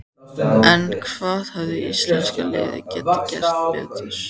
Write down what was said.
En hvað hefði íslenska liðið geta gert betur?